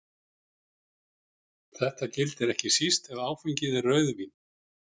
Þetta gildir ekki síst ef áfengið er rauðvín.